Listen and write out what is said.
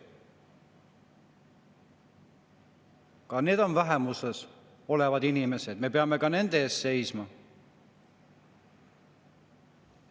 Ka need on vähemuses olevad inimesed ja me peame ka nende eest seisma.